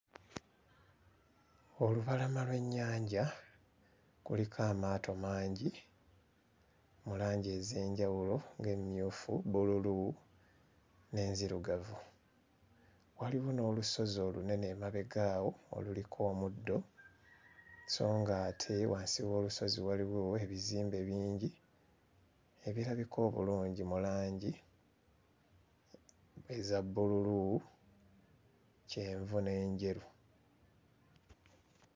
Olubalama lw'ennyanja kuliko amaato mangi mu langi ez'enjawulo ng'emmyufu, bbululu n'enzirugavu. Waliwo n'olusozi olunene emabega awo oluliko omuddo sso nga ate wansi w'olusozi waliwo ebizimbe bingi ebirabika obulungi mu langi eza bbululu, kyenvu, n'enjeru.